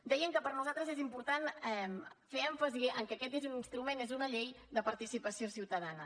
dèiem que per nosaltres és important fer èmfasi que aquest és un instrument és una llei de participació ciutadana